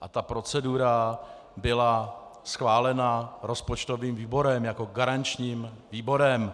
a ta procedura byla schválena rozpočtovým výborem jako garančním výborem.